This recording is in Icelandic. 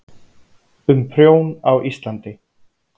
Um prjón á Íslandi.